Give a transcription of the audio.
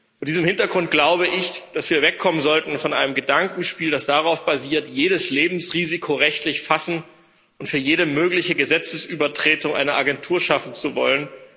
Vor diesem Hintergrund glaube ich, dass wir wegkommen sollten von einem Gedankenspiel, das darauf basiert, jedes Lebensrisiko rechtlich fassen und für jede mögliche Gesetzesübertretung eine Agentur schaffen zu wollen.